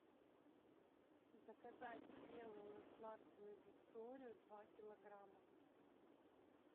заказать спелую сладкую викторию два килограмма